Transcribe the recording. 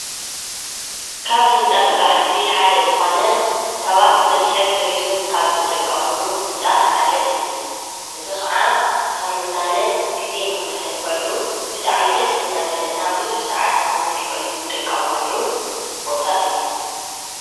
ካብ ህንፃ ስረሕቲ ሓደ ዝኮነ ሰባት ንመስሕብ ቱሪዝም ካብ ዝጥቀምሉ ህንፃ ሓደ እዩ። እዚ ከዓ ንክንዝናነ ግዘ ንክነሕልፈሉ ብጣዕሚ ደስ እናበለና ብዙሕ ሰዓት ንክነሕልፈሉ ንጥቀመሉ ቦታ እዩ።